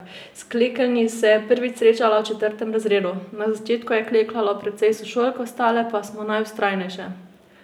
S klekeljni se je prvič srečala v četrtem razredu: 'Na začetku je klekljalo precej sošolk, ostale pa smo najvztrajnejše.